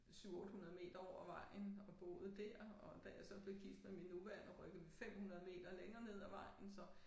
7 800 meter over vejen og boede dér og da jeg så blev gift med min nuværende rykkede vi 500 meter længere ned ad vejen så